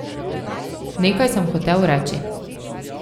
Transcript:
Nekaj sem hotel reči.